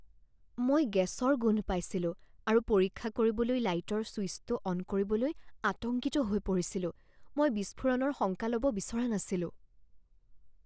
মই গেছৰ গোন্ধ পাইছিলো আৰু পৰীক্ষা কৰিবলৈ লাইটৰ চুইছটো অন কৰিবলৈ আতংকিত হৈ পৰিছিলোঁ। মই বিস্ফোৰণৰ শংকা ল'ব বিচৰা নাছিলোঁ।